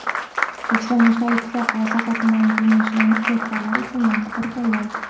O‘zbekiston yoshlar ittifoqi Asaka tuman Kengashidan ijodkorlar uchun yana bir tanlov!.